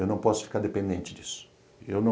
Eu não posso ficar dependente disso.